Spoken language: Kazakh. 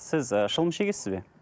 сіз ы шылым шегесіз бе